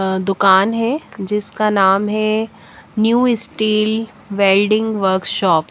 दुकान है जिसका नाम है न्यू स्टील वेल्डिंग वर्कशॉप --